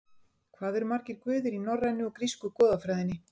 Hvað eru margir guðir í norrænu og grísku goðafræðinni?